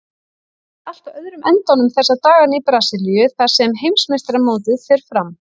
Það er allt á öðrum endanum þessa dagana í Brasilíu þar sem heimsmeistaramótið fer fram.